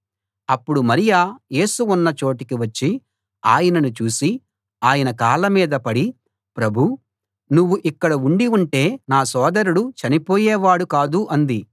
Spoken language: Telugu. అప్పుడు మరియ యేసు ఉన్న చోటికి వచ్చి ఆయనను చూసి ఆయన కాళ్ళ మీద పడి ప్రభూ నువ్వు ఇక్కడ ఉండి ఉంటే నా సోదరుడు చనిపోయేవాడు కాదు అంది